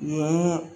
Mun